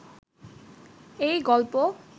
এই গল্প